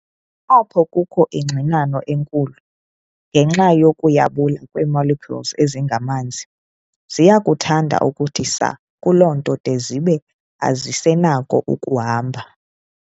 Apho kukho ingxinano enkulu, ngenxa yokuyabula kwee-molecules ezingamanzi, ziyakuthanda ukuthi saa kuloo nto de zibe azisenako ukuhamba.